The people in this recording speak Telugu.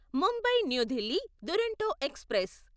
Mumbai new Delhi Duronto express